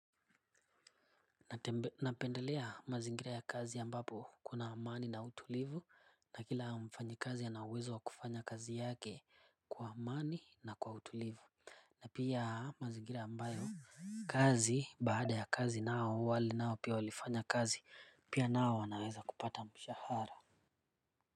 Napendelea mazingira ya kazi ambapo kuna amani na utulivu na kila mfanyi kazi ana uwezo wa kufanya kazi yake kwa amani na kwa utulivu na pia mazingira ambayo kazi baada ya kazi nao wale nao pia walifanya kazi pia nao wanaweza kupata mshahara.